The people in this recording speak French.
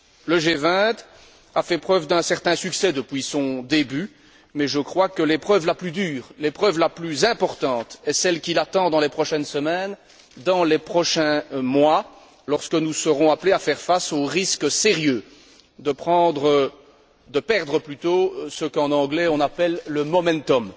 Le G20 a fait preuve d'un certain succès depuis son début mais je crois que l'épreuve la plus dure, l'épreuve la plus importante, est celle qui l'attend dans les prochaines semaines, dans les prochains mois, lorsque nous serons appelés à faire face au risque sérieux de perdre ce qu'en anglais on appelle le momentum